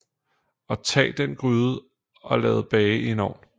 Og tag den gryde og lad bage i en ovn